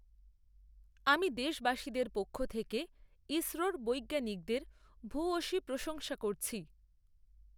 আমি দেশবাসীদের পক্ষ থেকে ইসরোর বৈজ্ঞানিকদের ভূয়সী প্রশংসা করছি।